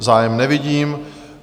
Zájem nevidím.